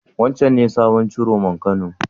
Wancen ne sabon Ciroman Kano?